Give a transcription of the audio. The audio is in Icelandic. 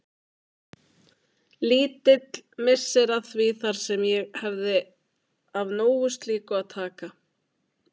Lítill missir að því þar sem ég hefði af nógu slíku að taka.